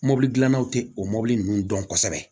Mɔbili dilannaw te o mobili ninnu dɔn kosɛbɛ